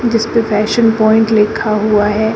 जिसपे fashion point लिखा हुआ है।